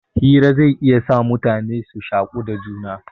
Hira zai iya sa mutane su shaku da juna.